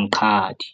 Mqadi.